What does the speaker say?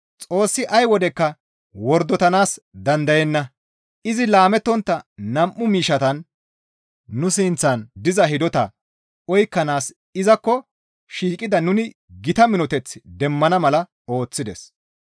Xoossi ay wodekka wordotanaas dandayenna; izi laamettontta nam7u miishshatan nu sinththan diza hidotaa oykkanaas izakko shiiqida nuni gita minoteth demmana mala ooththides.